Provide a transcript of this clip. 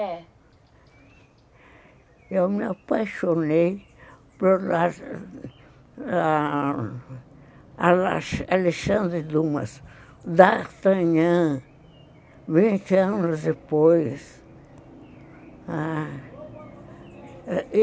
É. Eu me apaixonei por Alexandre Dumas, D'Artagnan, vinte anos depois.